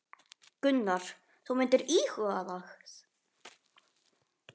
Gunnar: Þú myndir íhuga það?